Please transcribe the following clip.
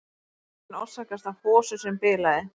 Lekinn orsakaðist af hosu sem bilaði